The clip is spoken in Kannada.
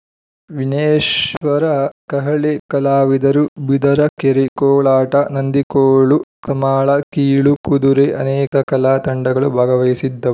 ವಿನೇಶ್ವರ ಕಹಳೆ ಕಲಾವಿದರು ಬಿದರಕೆರೆ ಕೋಲಾಟನಂದಿಕೋಲು ಸಮಾಳ ಕೀಲು ಕುದುರೆ ಅನೇಕ ಕಲಾ ತಂಡಗಳು ಭಾಗವಹಿಸಿದ್ದವು